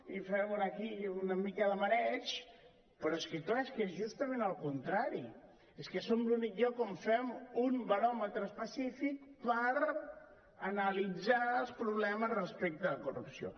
i fem una mica de mareig però és que clar és que és justament el contrari és que som l’únic lloc on fem un baròmetre específic per analitzar els problemes respecte a la corrupció